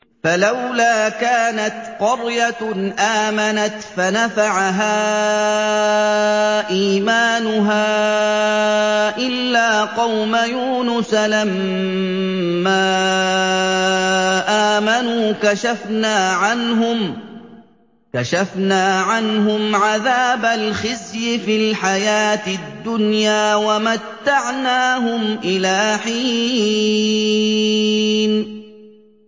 فَلَوْلَا كَانَتْ قَرْيَةٌ آمَنَتْ فَنَفَعَهَا إِيمَانُهَا إِلَّا قَوْمَ يُونُسَ لَمَّا آمَنُوا كَشَفْنَا عَنْهُمْ عَذَابَ الْخِزْيِ فِي الْحَيَاةِ الدُّنْيَا وَمَتَّعْنَاهُمْ إِلَىٰ حِينٍ